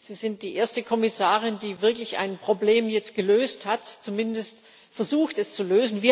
Sie sind die erste Kommissarin, die wirklich ein Problem jetzt gelöst hat, zumindest versucht, es zu lösen.